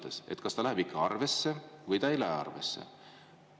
Kas see küsimus läheb ikka arvesse või ei lähe arvesse?